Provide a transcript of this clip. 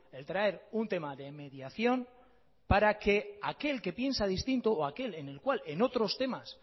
el traer un tema de mediación para que aquel que piensa distinto o aquel en el cual en otros temas